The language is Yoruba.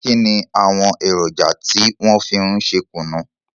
Kínni àwọn èròjà tí wọn fi ń ṣe kùnú?